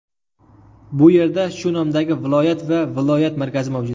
Bu yerda shu nomdagi viloyat va viloyat markazi mavjud.